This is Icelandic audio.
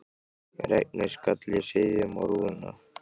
Regnið skall í hryðjum á rúðuna.